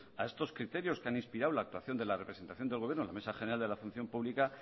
a estos criterios que han inspirado la actuación de la representación del gobierno en la mesa general de la función pública